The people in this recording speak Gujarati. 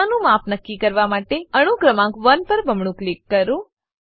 ખૂણાનું માપ નક્કી કરવા માટે અણુ ક્રમાંક 1 પર બમણું ક્લિક કરો